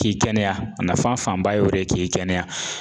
K'i kɛnɛya a nafanba y'o de ye k'i kɛnɛya